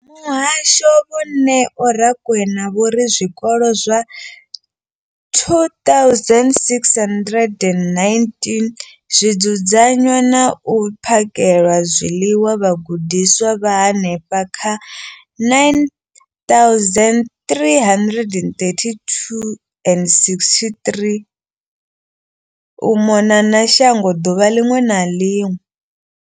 Muhasho, Vho Neo Rakwena, vho ri zwikolo zwa 2 619 zwi dzudzanya na u phakhela zwiḽiwa vhagudiswa vha henefha kha 932 622 u mona na shango ḓuvha ḽiṅwe na ḽiṅwe.